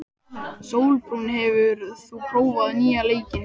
Sólbrún, hefur þú prófað nýja leikinn?